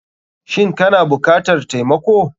Shin kana bukatar taimako.